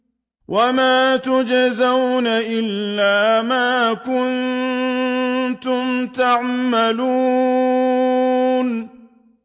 وَمَا تُجْزَوْنَ إِلَّا مَا كُنتُمْ تَعْمَلُونَ